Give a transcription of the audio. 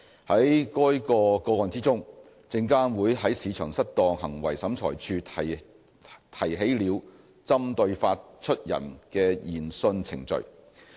在該個案中，證監會在市場失當行為審裁處提起了針對發出人的研訊程序。